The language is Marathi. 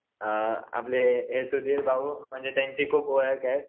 अ आपले सुधीर भाऊ म्हणजे त्यांचे खूप ओळख आहेत.